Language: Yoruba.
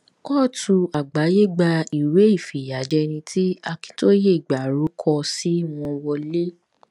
kọ́ọ̀tù àgbàáyé gba ìwé ìfìyàjẹni tí akintóye ìgbàro kọ sí wọn wọlẹ